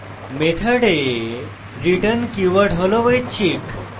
method return keyword হল ঐচ্ছিক